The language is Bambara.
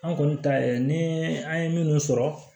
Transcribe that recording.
An kɔni ta ye ni an ye minnu sɔrɔ